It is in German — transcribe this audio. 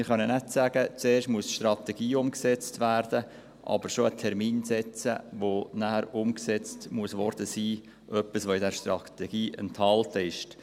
Wir können nicht sagen, zuerst müsse die Strategie umgesetzt werden, aber bereits einen nachher einzuhaltenden Umsetzungstermin für etwas festlegen, das in dieser Strategie enthalten ist.